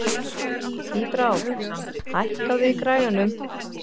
Tíbrá, hækkaðu í græjunum.